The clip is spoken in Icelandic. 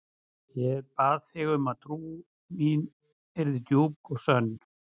Ég bað þig um að trú mín yrði djúp og sönn.